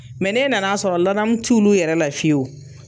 Mɛ n'e nan'a sɔrɔ ladamu t'ulu yɛrɛ la fiyewu,